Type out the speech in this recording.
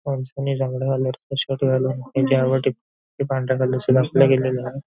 माणसाने जांभळ्या कलर चा शर्ट घालून त्यावर ठिप के पांढऱ्या कलर चे दाखवल्या गेलेले आहे.